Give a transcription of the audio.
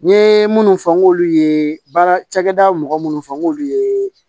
N ye minnu fɔ n k'olu ye baara cakɛda mɔgɔ minnu fɔ n k'olu ye